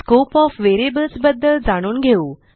scope of variables बद्दल जाणून घेऊ